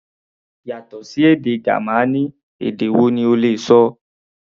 Yàtọ̀ sí èdè Gamaní, èdè wo ni o lè ṣọ?